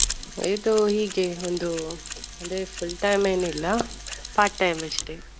ಇದು ಹೀಗೆಯೇ ಒಂದು ಅಂದ್ರೆ full time ಏನಿಲ್ಲ part time ಅಷ್ಟೆ.